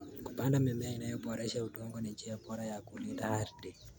Kupanda mimea inayoboresha udongo ni njia bora ya kulinda ardhi.